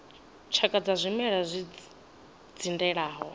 tshakha dza zwimela zwi dzindelaho